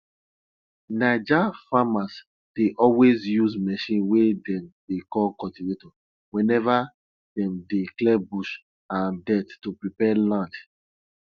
naija farmers dey always use machine wey dem dey call cultivator whenever dem dey clear bush and dirt to prepare land